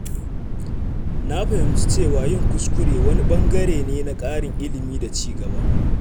Na fahimci cewa yin kuskure wani ɓangare ne na ƙarin ilimi da ci gaba.